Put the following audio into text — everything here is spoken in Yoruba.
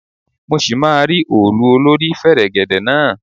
Mọ ṣì máa rí òòlù olórí fẹ̀rẹ̀gẹ̀dẹ̀ náà.